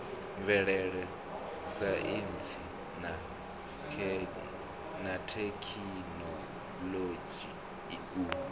mvelele saintsi na thekhinoḽodzhi u